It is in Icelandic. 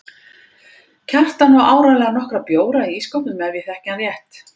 Kjartan á áreiðanlega nokkra bjóra í ísskápnum ef ég þekki hann rétt.